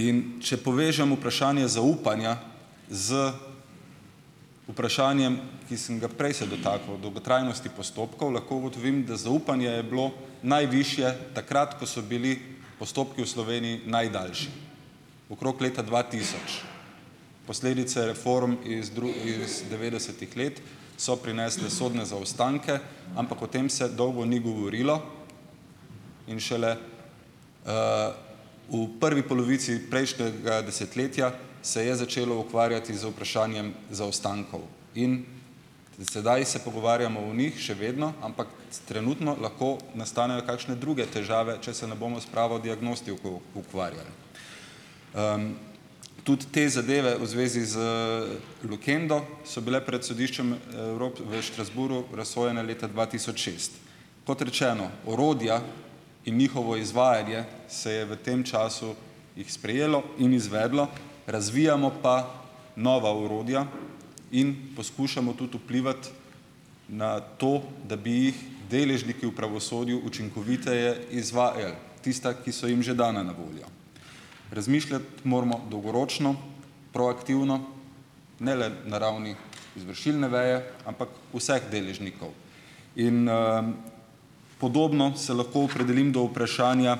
In če povežem vprašanje zaupanja z vprašanjem, ki sem ga prej se dotikal, dolgotrajnosti postopkov, lahko ugotovim, da zaupanje je bilo najvišje takrat, ko so bili postopki v Sloveniji najdaljši, okrog leta dva tisoč. Posledice reform iz iz devetdesetih let so prinesle sodne zaostanke, ampak o tem se dolgo ni govorilo in šele v prvi polovici prejšnjega desetletja se je začelo ukvarjati z vprašanjem zaostankov in. Sedaj se pogovarjamo o njih še vedno, ampak trenutno lahko nastanejo kakšne druge težave, če se ne bomo s pravo diagnostiko ukvarjali. Tudi te zadeve v zvezi z, Lukendo so bile pred sodiščem, v v Strasbourgu razsojene leta dva tisoč šest. Kot rečeno, orodja in njihovo izvajanje se je v tem času jih sprejelo in izvedlo, razvijamo pa nova orodja in poskušamo tudi vplivati na to, da bi jih deležniki v pravosodju učinkoviteje izvajali tista, ki so jim že dana na voljo. Razmišljati moramo dolgoročno, proaktivno, ne le na ravni izvršilne veje, ampak vseh deležnikov. in, Podobno se lahko opredelim do vprašanja